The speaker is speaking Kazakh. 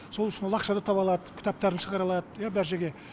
сол үшін ол ақша да таба алады кітаптарын шығара алады иә бар жерге